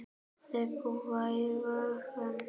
Þau búa í Vogum.